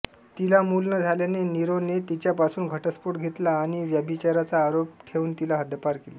तिला मूल न झाल्याने नीरोने तिच्यापासून घटस्फोट घेतला आणि व्यभिचाराचा आरोफ ठेवून तिला हद्दपार केले